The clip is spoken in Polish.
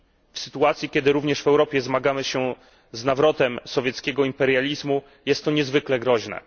W sytuacji, kiedy również w Europie zmagamy się z nawrotem sowieckiego imperializmu, jest to niezwykle groźne.